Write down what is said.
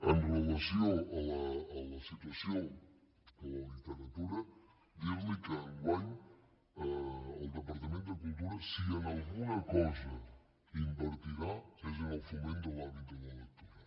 amb relació a la situació de la literatura dir li que enguany el departament de cultura si en alguna cosa invertirà és en el foment de l’hàbit de la lectura